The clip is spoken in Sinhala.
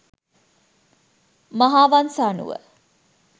මහාවංස අනුව